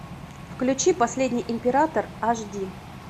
включи последний император аш ди